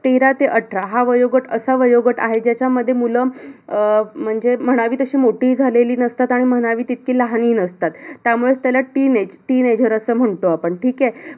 तेरा ते अठरा, हा वयोगट असा वयोगट आहे ज्याच्यामध्ये मुलं, अं म्हणजे अह म्हणावी तशी मोठीही झालेली नसतात. आणि म्हणावी तितकी लहानही नसतात. त्यामुळेच त्याला teenage, teenager असं म्हणतो आपण. ठीक आहे?